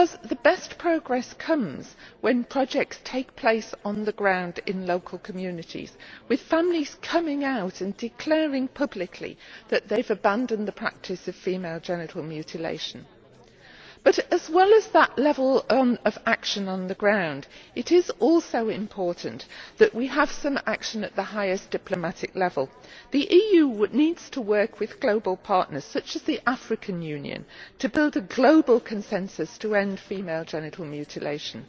The best progress is made when projects take place on the ground in local communities, with families coming out and declaring publicly that they have abandoned the practice of female genital mutilation. However, as well as that action on the ground, it is also important to take action at the highest diplomatic level. The EU needs to work with global partners, such as the African Union, to build a global consensus on ending female genital mutilation.